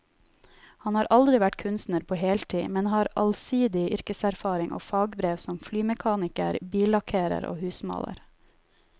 Han har aldri vært kunstner på heltid, men har allsidig yrkeserfaring og fagbrev som flymekaniker, billakkerer og husmaler.